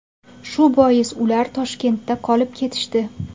Shu bois ular Toshkentda qolib ketishdi.